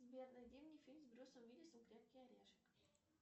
сбер найди мне фильм с брюсом уиллисом крепкий орешек